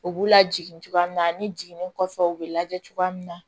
U b'u lajigin cogoya min na ani jiginnin kɔfɛ u bɛ lajɛ cogoya min na